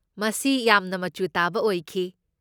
ꯃꯁꯤ ꯌꯥꯝꯅ ꯃꯆꯨ ꯇꯥꯕ ꯑꯣꯏꯈꯤ꯫